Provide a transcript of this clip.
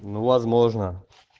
ну возможно